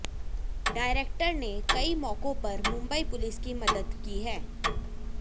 director ने कई मौकों पर मुंबई पुलिस की मदद की है